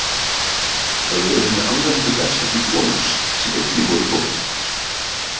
Það voru hinir alræmdu berserkir konungs sem einnig voru tólf.